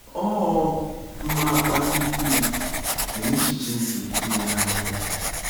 Ọ mmam akpali Iv n’echiche nke ‘imeghe anya ya’.